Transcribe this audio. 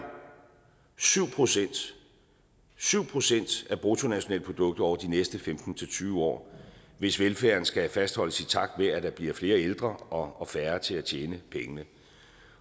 syv procent syv procent af bruttonationalproduktet over de næste femten til tyve år hvis velfærden skal fastholdes i takt med at der bliver flere ældre og færre til at tjene pengene